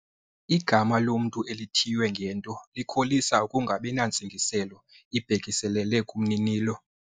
Igama lomntu elithiywe ngento likholisa ukungabi nantsingiselo ibhekiselele kumninilo.